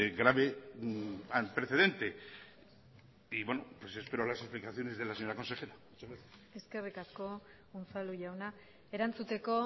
grave precedente y bueno pues espero las explicaciones de la señora consejera muchas gracias eskerrik asko unzalu jauna erantzuteko